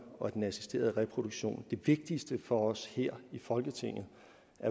og den assisterede reproduktion det vigtigste for os her i folketinget